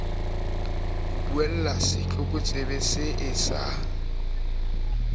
ho buella setlokotsebe see sa